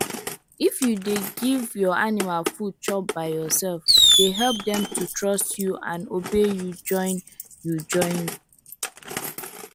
if you dey give your animal food chop by yourselfe dey help dem to trust you and obey you join you join